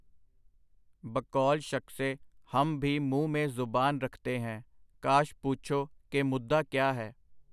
ਬਕੌਲ-ਸ਼ਖਸੇ - ਹਮ ਭੀ ਮੂੰਹ ਮੇਂ ਜ਼ਬਾਨ ਰਖਤੇ ਹੈਂ, ਕਾਸ਼ ਪੂਛੋ ਕਿ ਮੁੱਦਾ ਕਿਆ ਹੈ.